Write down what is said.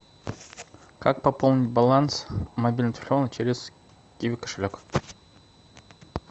как пополнить баланс мобильного телефона через киви кошелек